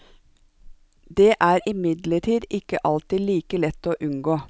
Det er imidlertid ikke alltid like lett å unngå.